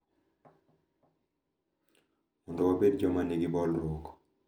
Mondo wabed joma nigi bolruok.